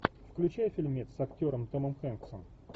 включай фильмец с актером томом хэнксом